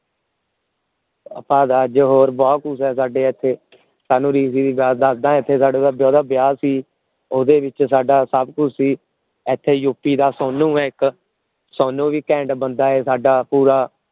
ਆਪਾਂ ਅਜੇ ਬਹੁਤ ਘੁਸ ਇਥੇ ਸਾਨੂ ਦੀ ਗੱਲ ਦਸਦਾ ਸਾਡੇ ਇਥੇ ਵਿਆਹ ਸੀ ਓਹਦੇ ਵਿਚ ਸਾਡਾ ਸਭ ਕੁਛ ਸੀ ਇਥੇ U. P. ਦਾ ਸੋਨੂ ਹੈ ਇਕ ਸੋਨੂ ਵੀ ਘੈਂਟ ਬੰਦਾ ਏ ਸਾਡਾ ਪੂਰਾ